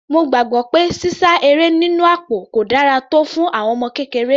Mo gbàgbọ́ pé sísá eré nínú àpò kò dára tọ́ fún àwọn ọmọ kékeré.